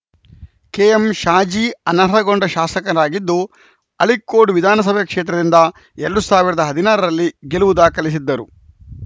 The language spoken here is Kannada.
ಕೆಎಂಶಾಜಿ ಅನರ್ಹಗೊಂಡ ಶಾಸಕರಾಗಿದ್ದು ಅಳಿಕ್ಕೋಡ್‌ ವಿಧಾನಸಭೆ ಕ್ಷೇತ್ರದಿಂದ ಎರಡ್ ಸಾವಿರದ ಹದಿನಾರ ರಲ್ಲಿ ಗೆಲುವು ದಾಖಲಿಸಿದ್ದರು